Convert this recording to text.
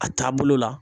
A taabolo la